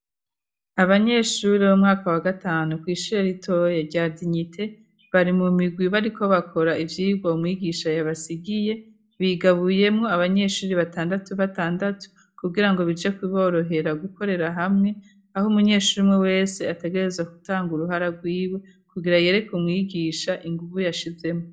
Abanyeshure bo mumwaka wa gatanu kw'ishure ritoya rya Dinyite, bari mu migwi bariko bakora ivyigwa mwigisha yabasigiye, bigabuyemo abanyeshuri batandatu batandatu, kugira ngo bije kuborohera gukorera hamwe, aho umunyeshuri umwe wese ategerezwa gutanga uruhara rwiwe, kugira yereka mwigisha inguvu yashizemwo.